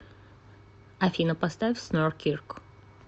афина поставь снорр кирк